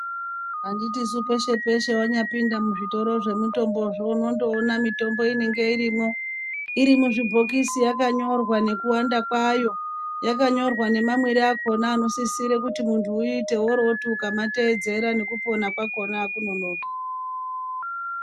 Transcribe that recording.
Anditisu peshe peshe wanyapinda mizvitoro zvemitombozvo unondoona mitombo inenge irimwo irimuzvibhokisi yakanyorwa nekuwanda kwayo yakanyorwa nemamwire akona anosisire kuti muntu uite woroti ukamateedzera nekupona kwakona akunonoki.